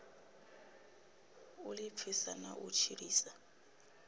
u ḓipfisa na u tshilisa